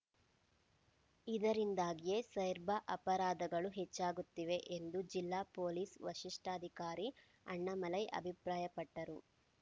ಇದರಿಂದಾಗಿಯೇ ಸೈರ್ಬ ಅಪರಾಧಗಳು ಹೆಚ್ಚಾಗುತ್ತಿವೆ ಎಂದು ಜಿಲ್ಲಾ ಪೊಲೀಸ್‌ ವರಿಷ್ಠಾಧಿಕಾರಿ ಅಣ್ಣಾಮಲೈ ಅಭಿಪ್ರಾಯಪಟ್ಟರು